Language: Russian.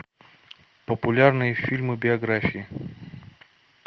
популярные фильмы биографии